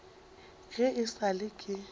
ge e sa le ke